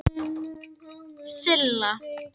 Vegir á láglendi eru auðir